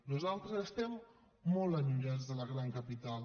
nosaltres estem molt allunyats de la gran capital